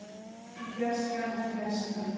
úr fjarska úr fjarska.